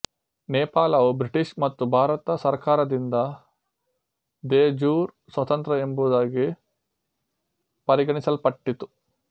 ನೇಪಾಳವು British ಮತ್ತು ಭಾರತ ಸರ್ಕಾರದಿಂದ ದೆ ಜ್ಯೂರ್ ಸ್ವತಂತ್ರ ಎಂಬುದಾಗಿ ಪರಿಗಣಿಸಲ್ಪಟ್ಟಿತ್ತು